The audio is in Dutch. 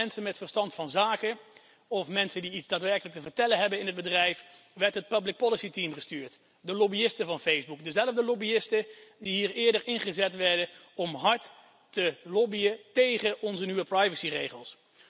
In plaats van mensen met verstand van zaken of mensen die iets daadwerkelijk te vertellen hebben in het bedrijf, werd het public policy team gestuurd, de lobbyisten van Facebook, dezelfde lobbyisten die hier eerder ingezet werden om hard te lobbyen tégen onze nieuwe privacyregels.